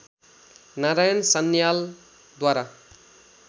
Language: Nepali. नारायण सान्यालद्वारा